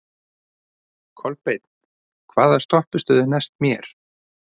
Kolbeinn, hvaða stoppistöð er næst mér?